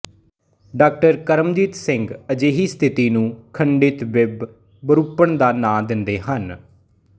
ਡਾਕਰਮਜੀਤ ਸਿੰਘ ਅਜਿਹੀ ਸਥਿਤੀ ਨੂੰ ਖੰਡਿਤ ਬਿੰਬ ਵਿਰੁਪਣ ਦਾ ਨਾਂ ਦਿੰਦੇ ਹਨ